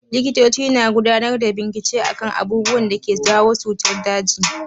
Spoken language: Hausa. Likitoci na gudanar da bincike akan abubuwan da suke jawo cutar daji.